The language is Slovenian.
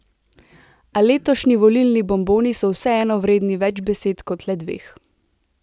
A letošnji volilni bomboni so vseeno vredni več besed, kot le dveh.